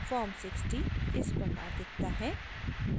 form 60 इस प्रकार दिखता है